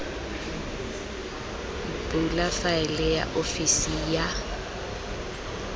bula faele ya ofisi ya